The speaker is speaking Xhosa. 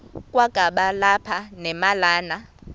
kwakaba lapha nemalana